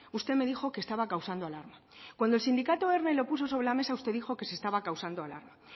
usted me dijo que estaba causando alarma cuando el sindicato erne lo puso sobre la mesa usted dijo que se estaba causando alarma